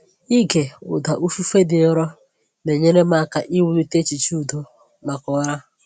Ịge ụda ifufe dị nro na-enyere m aka iwulite echiche udo maka ụra.